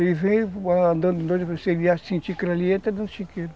Ele vem andando doido, você ia sentir que ele ia entrar no chiqueiro.